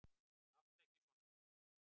Láttu ekki svona Týri.